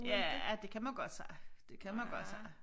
Ja det kan man godt sige det kan man godt sige